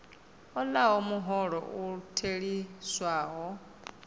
a hola muholo u theliswaho